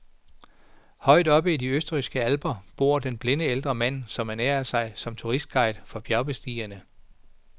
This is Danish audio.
Højt oppe i de østrigske alper bor den blinde ældre mand, som ernærer sig som turistguide for bjergbestigere.